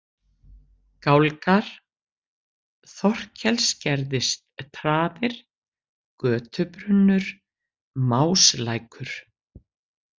Gálgar, Þorkelsgerðistraðir, Götubrunnur, Máslækur